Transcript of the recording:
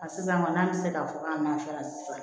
A sisan kɔni an ti se k'a fɔ k'an nana fara sisan